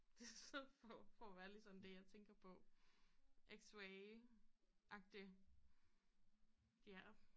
Det så for for at være ærlig sådan det jeg tænker på X-rayagtig ja